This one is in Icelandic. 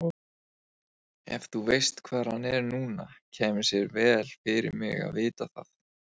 Snorrason lögmaður varð meðeigandi og stjórnarformaður nýja fyrirtækisins og er það enn.